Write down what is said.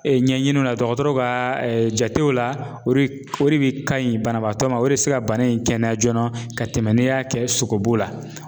ɲɛɲiniw na dɔgɔtɔrɔw ka jatew la o re ore de bɛ ka ɲi banabaatɔ ma o re bɛ se ka bana in kɛnɛya joona ka tɛmɛ n'i y'a kɛ sogobu la.